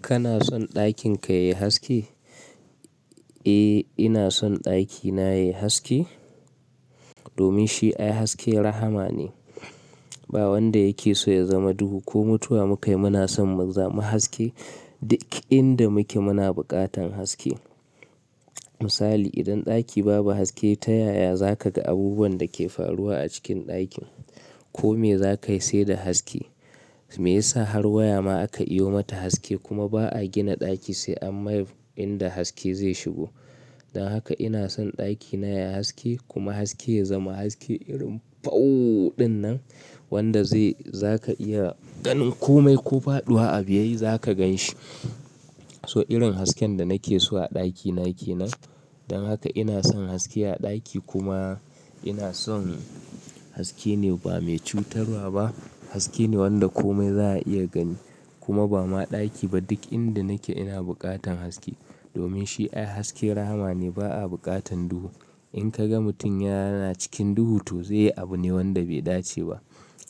Kana son ɗakin ka yayi haske? Eh, ina son ɗakina yayi haske, domin shi ai haske rahama ne. Ba wanda yake so ya zama duhu ko mutuwa muka yi muna son mu zama haske. Duk inda muke muna buƙatan haske. Misali, idan ɗaki babu haske ta yaya za ka ga abubuwan da ke faruwa a cikin ɗakin, ko me za ka yi sai da haske, Me yasa har waya ma aka iyo mata haske, kuma ba'a gina ɗaki sai an mai inda haske zai shigo. Don haka ina son ɗakina yayi haske, kuma haske ya zama haske irin fauu ɗin nan wanda zai-- za ka iya ganin kome ko faɗuwa abu yayi za ka ganshi. So irin hasken da nake so a ɗakina ke nan. Don haka ina son haske a ɗaki, kuma ina son haske ne ba mai cutarwa ba, Haske ne wanda komai za'a iya gani, kuma ba ma ɗaki ba duk inda nake ina buƙatan haske. Domin shi ai haske rahama ne ba a buƙatan duhu. In ka ga mutum yana cikin duhu to zai yi abu ne wanda bai dace ba.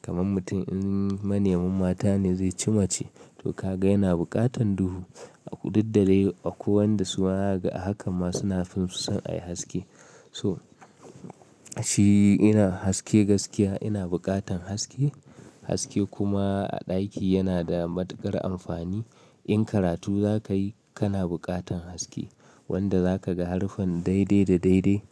Kaman mutum in manemin mata ne zai ci mace. To ka ga yana buƙatan duhu. A kududda dai, akwai wanda su zakaga a hakan ma suna, fim su san a yi haske. To, shi ina haske gaskiya ina buƙatan haske. Haske kuma a ɗaki yana da matuƙar amfani, In karatu za ka yi kana buƙatan haske, wanda za ka ga haruffan daidai da daidai,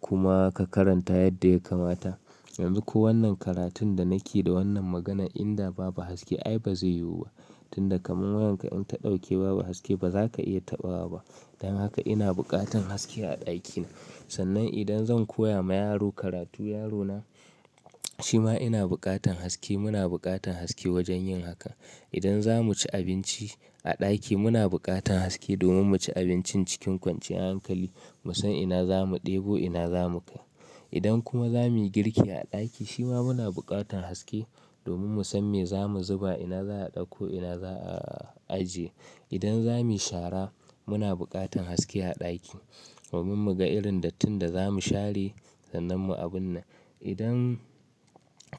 kuma ka karanta yadda ya kamata. Yanzu ko wannan karatun da nake da wannan maganan, inda babu haske ai ba zai yiwu ba. Tunda kaman wayanka in ta ɗauke babu haske ba za ka iya taɓawa ba. Don haka ina buƙatan haske a ɗakina. Sannan idan zan koya ma yaro karatu, yaro na, shima ina buƙatan haske, muna buƙatan haske wajen yin haka. Idan za mu ci abinci a ɗaki muna buƙatan haske, domin mu ci abincin cikin kwanciyan hankali, mu san ina za mu ɗebo ina za mu kai. Idan kuma za muyi girki a ɗaki, shima muna buƙatan haske, domin mu san me za mu zuba, ina za'a ɗakko ina za'a ajiye. Idan za mu yi shara, muna buƙatan haske a ɗaki, domin mu ga irin dattin da za mu share sannan mu abun nan. Idan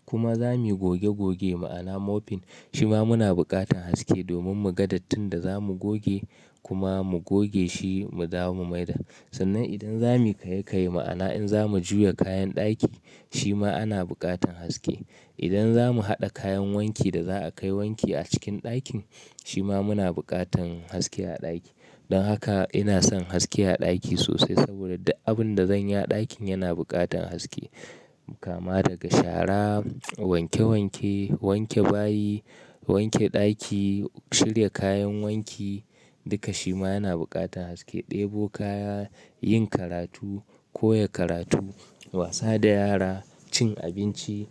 kuma za muyi goge goge ma'ana mopping, shima muna buƙatan haske domin mu ga dattin da za mu goge kuma mu goge shi mu dawo mu mai da Sannan idan za muyi kaye-kaye, ma'ana in za mu juya kayan ɗaki, shima ana buƙatan haske. Idan za mu haɗa kayan wanki da za a kai wanki a cikin ɗakin shima muna buƙatan haske a ɗaki. Don haka ina son haske a ɗaki sosai saboda duk abun da zanyi a ɗakin yana buƙatan haske. Kama daga shara, wanke-wanke, wanke bayi, wanke ɗaki, shirya kayan wanki, duka shima yana buƙatan haske. Ɗebo kaya, yin karatu, koya karatu, wasa da yara, cin abinci,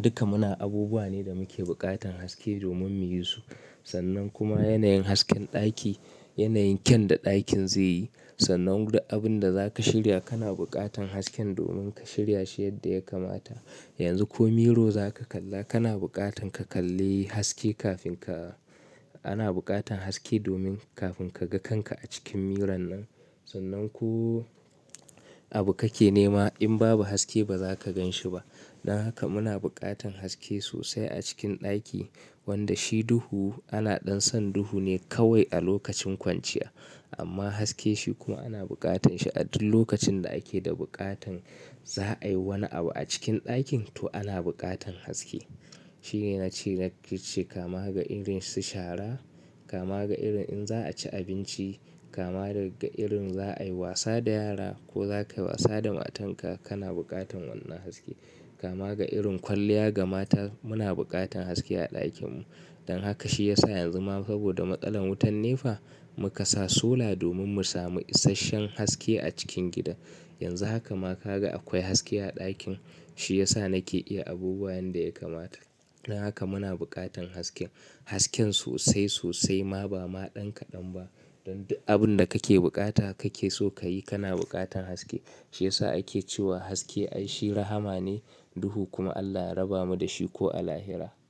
duka muna, abubuwa ne da muke buƙatan haske domin muyi su. Sannan kuma yanayin hasken ɗaki, yanayin kyan da ɗakin zai yi. Sannan duk abun da za ka shirya, kana buƙatan hasken domin ka shirya shi yadda ya kamata. Yanzu ko miro za ka kalla kana buƙatan ka kalli haske kafin ka-- ana buƙatan haske domin kafin ka ga kanka a cikin miron nan. Sannan ko abu kake nema in babu haske ba za ka ganshi ba. Don haka muna buƙatan haske sosai a cikin ɗaki wanda shi duhu ana ɗan son duhu ne kawai a lokacin kwanciya amma haske shi kuma ana buƙatan shi a duk lokacin da ake da buƙatan za'a yi wani abu a cikin ɗakin to ana buƙatan haske. Shine na ce na ƙirche, kama ga irin su shara, kama ga irin in za'a ci abinci, kama daga irin za'a yi wasa da yara, ko za ka yi wasa da matanka, kana buƙatan wannan haske. Kama ga irin kwalliya ga mata, muna buƙatan haske a ɗakin mu. Don haka shi yasa yanzu ma saboda matsalar wutan ne fa, muka sa sola domin mu sami isasshen haske a cikin gidan. Yanzu haka ma ka ga akwai haske a ɗakin shi yasa nake iya abubuwa yanda ya kamata. Don haka muna buƙatan haske. Hasken sosai sosai ma ba ma ɗan kaɗan ba. Don duk abun da kake buƙata kake so kayi kana buƙatan haske. Shi yasa ake cewa haske ai shi rahama ne, duhu kuma Allah ya raba mu da shi ko a lahira.